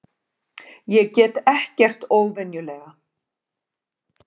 Ég get ekkert óvenjulega.